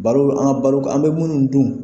Balo an ka balo an bɛ minnu dun.